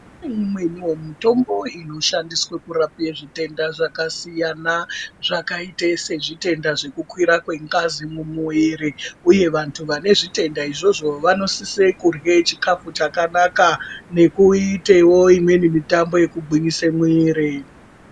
Kune imweniwo mitombo inoshandiswe kurape zvitenda zvakasiyana, zvakaite sezvitenda zvekukwira kwengazi mumwiiri ,uye vantu vane zvitenda izvozvo vanosise kurye chikhafu chakanaka, nekuitewo imweni mitambo inogwinyise mwiri.